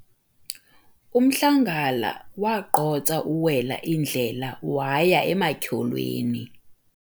umhlangala wagqotsa uwela indlela waya ematyholweni